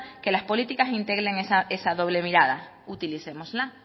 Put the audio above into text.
que las políticas integren esa doble mirada utilicémosla